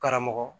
Karamɔgɔ